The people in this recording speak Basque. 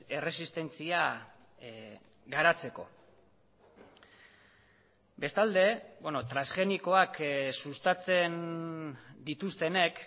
erresistentzia garatzeko bestalde transgenikoak sustatzen dituztenek